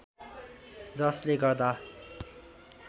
जसले गर्दा